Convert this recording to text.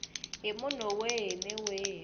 hi munhu wihi ni wihi